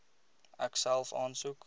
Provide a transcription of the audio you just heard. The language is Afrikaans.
ek self aansoek